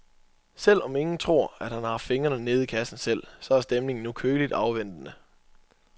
Selv om ingen tror, at han har haft fingrene nede i kassen selv, så er stemningen nu køligt afventende.